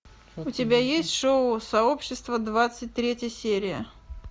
у тебя есть шоу сообщество двадцать третья серия